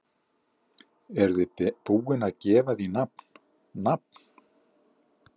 Eruð þið búin að gefa því nafn, nafn?